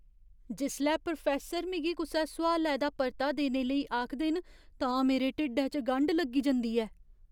जिसलै प्रोफैस्सर मिगी कुसै सोआलै दा परता देने लेई आखदे न तां मेरे ढिड्ढै च गंढ लग्गी जंदी ऐ।